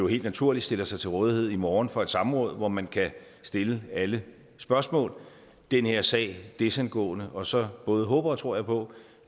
helt naturligt stiller sig til rådighed i morgen for et samråd hvor man kan stille alle spørgsmål den her sag desangående og så både håber og tror jeg på